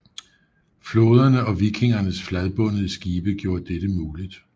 Floderne og vikingernes fladbundede skibe gjorde dette muligt